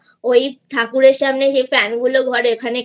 ওই ঠাকুরের সামনে ফ্যানগুলো ঘোরে